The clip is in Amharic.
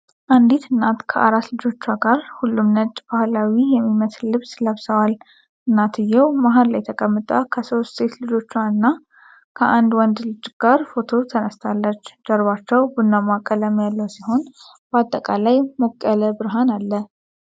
አንዲት እናት ከአራት ልጆቿ ጋር፣ ሁሉም ነጭ ባህላዊ የሚመስል ልብስ ለብሰዋል። እናትየው መሃል ላይ ተቀምጣ ከሶስት ሴት ልጆቿ እና ከአንድ ወንድ ልጅ ጋር ፎቶ ተነስታለች። ጀርባቸው ቡናማ ቀለም ያለው ሲሆን፣ በአጠቃላይ ሞቅ ያለ ብርሃን አለ።